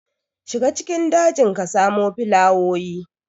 Shiga cikin dajin ka samo filawoyi.